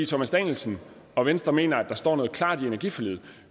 thomas danielsen og venstre mener at der står noget klart i energiforliget